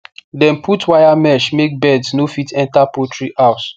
dem put wire mesh make birds no fit enter poultry house